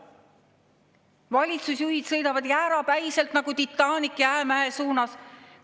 Valitsusjuhid sõidavad jäärapäiselt nagu Titanic jäämäe suunas.